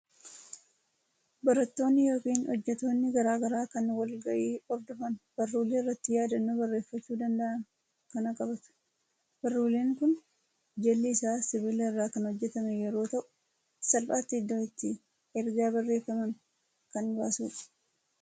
Barattoonni yookiin hojjettoonni garaa garaa kan wal gahii hordofan baruulee irratti yaadannoo bareeffachuu danda'an kana qabtu. Baruuleen kun jalli isaa sibiila irraa kan hojjetame yeroo ta'u, salphaatti iddoo itti ergaa barreeffaman kan baasudha.